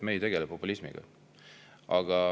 Me ei tegele populismiga.